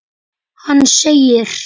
Hann segir